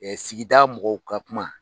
sigida mɔgɔw ka kuma.